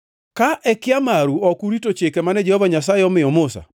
“ ‘Ka e kia maru ok urito chike mane Jehova Nyasaye omiyo Musa,